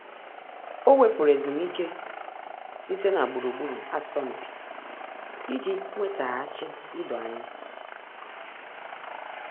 Ọ́ wèpụ̀rụ̀ ezumike site na gburugburu asọmpi iji nwétàghàchí idoanya.